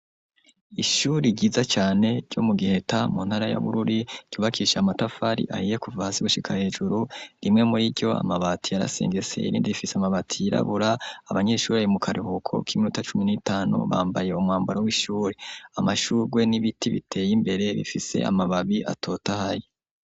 Ishuri giza cane ryo mu Giheta mu ntara ya Bururi ryubakishije amatafari ahiye kuva hasi gushika hejuru, rimwe muri iryo amabati yarasengeseye irindi rifise amabati yirabura abanyeshure bari mu karuhuko k'iminota cumi n'itanu bambaye umwambaro w'ishure. Amashurwe n'ibiti biteye imbere bifise amababi atotahaye.